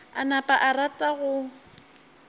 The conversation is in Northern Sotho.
a napa a rata go